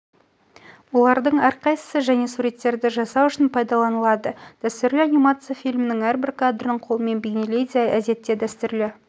олардың әрқайсысы және суреттерді жасау үшін пайдаланылады дәстүрлі анимация фильмнің әрбір кадрын қолмен бейнелейді әдетте дәстүрлі